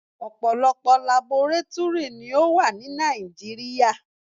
Ọ̀pọ̀lọpọ̀ labọrátúrì ni ó wà ní Nàìjíríà.